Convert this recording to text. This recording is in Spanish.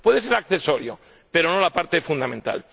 Puede ser accesorio, pero no la parte fundamental.